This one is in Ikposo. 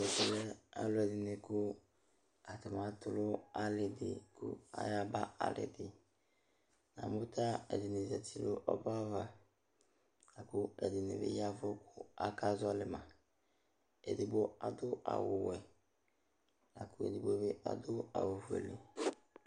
Ɛvɛ lɛ alʋɛdɩnɩ kʋ atanɩ atʋ nʋ alɩ dɩ kʋ ayaba alɩ dɩ Namʋ ta ɛdɩnɩ zati nʋ ɔbɛ ava la kʋ ɛdɩnɩ bɩ ya ɛvʋ kʋ akazɔɣɔlɩ ma Edigbo adʋ awʋwɛ la kʋ edigbo bɩ adʋ awʋfuele